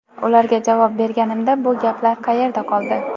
Ularga javob berganimda bu gaplar qayerda qoldi?